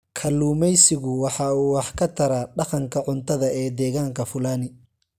Kalluumaysigu waxa uu wax ka taraa dhaqanka cuntada ee degaanka Fulani.